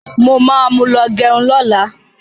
Mo ma mú lọ gẹrun lọ́la.